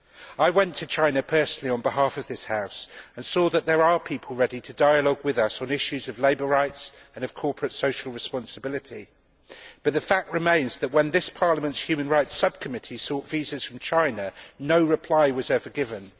I went to China personally on behalf of this House and saw that there are people ready to enter into dialogue with us on issues of labour rights and corporate social responsibility. But the fact remains that, when this Parliament's Human Rights Subcommittee sought visas from China, no reply was ever given